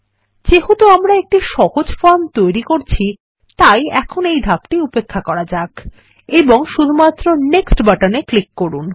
যেহেতু আমরা একটি সহজ ফর্ম তৈরি করছি এখন এই ধাপটি উপেক্ষা করা যাক এবং শুধুমাত্র নেক্সট বাটনে ক্লিক করুন